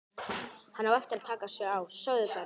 Hann á eftir að taka sig á, sögðu þær.